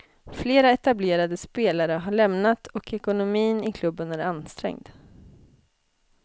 Flera etablerade spelare har lämnat och ekonomin i klubben är ansträngd.